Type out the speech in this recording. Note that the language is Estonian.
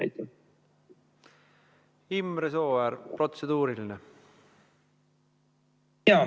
Imre Sooäär, protseduuriline!